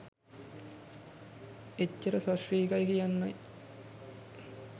එච්චර සශ්‍රීකයි කියන්නයි